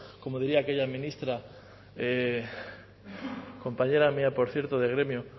como diría aquella ministra compañera mía por cierto de gremio